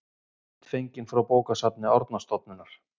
Mynd fengin frá bókasafni Árnastofnunar.